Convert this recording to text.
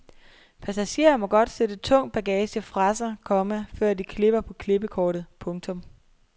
Passagerer må godt sætte tung bagage fra sig, komma før de klipper på klippekortet. punktum